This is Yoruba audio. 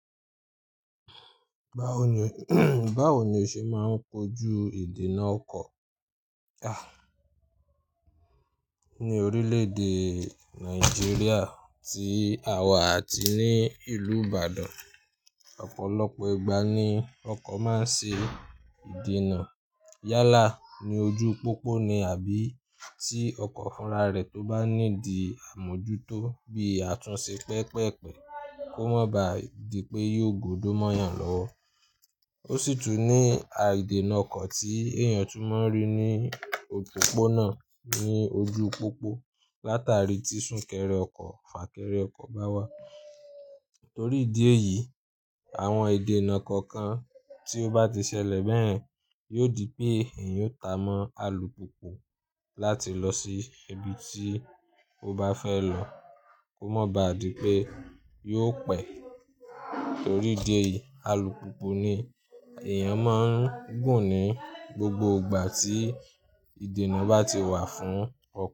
Báwo ni, báwo ni o ṣe máa ń kojú ìdènà ọkọ̀? Ah. Ni orílè èdè Nàìjíríà tí àwa àti ní ìlú Ìbàdàn, ọ̀pọ̀lọpọ̀ ìgbà ni ọkọ̀ máa ń ṣe ìdènà. Yálà ní ojú pópó ni àbí tí ọkọ̀ fúnra rẹ̀ tó bá ní di àmójútó bí a tún ṣe pẹpẹ́pẹ́ kó mọ̀ bá di pé yóò gbódò mọ́yàn lọ́wọ́. Ó sì tún ní a ìdènà ọkọ̀ tí èèyàn tún máa ń rí ní òpópónà ní ojú pópó látàrí tí sún kẹrẹ ọkọ̀, fà kẹrẹ ọkọ̀ bá wá. Nítorí ìdí èyí, àwọn ìdènà kọ̀ọ̀kan tí ó bá ti ṣẹlẹ̀ bẹ́ẹ̀ yóò di pé èèyàn yóò ta mọ́ alùpùpù láti lọ sí ibi tí ó bá fẹ́ lọ kó mọ̀ bá di pé yóò pẹ̀ẹ́. Nítorí ìdí èyí, alùpùpù ni èèyàn máa ń gùn ní gbogbo ìgbà tí ìdènà bá ti wà fún ọkọ̀